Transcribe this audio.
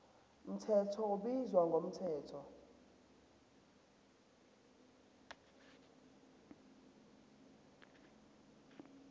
mthetho ubizwa ngomthetho